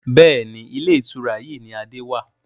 Bẹ́ẹ̀ni, Ilé ìtura yìí ni Adé wàá.